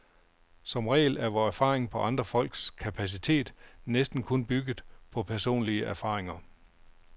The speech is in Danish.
Som regel er vor erfaring om andre folks kapacitet næsten kun bygget på personlige erfaringer.